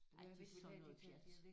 Ej det er sådan noget pjat